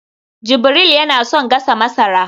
jibril yana son gasa masara